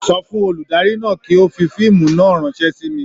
Sọ fún olùdarí náà kí ó fi fíìmù náà ránṣẹ́ sí mi.